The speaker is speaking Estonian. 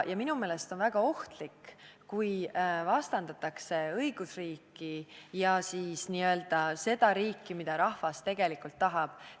Minu meelest on väga ohtlik, kui vastandatakse õigusriiki ja siis n-ö seda riiki, mida rahvas tegelikult tahab.